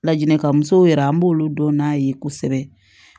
Laɲinikan musow yɛrɛ an b'olu dɔn n'a ye kosɛbɛ